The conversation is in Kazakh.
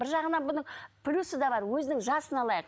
бір жағынынан бұның плюсі де бар өзінің жасын алайық